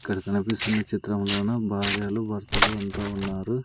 ఇక్కడ కనిపిస్తున్న చిత్రములోన భార్యలు భర్తలు అంతా ఉన్నారు.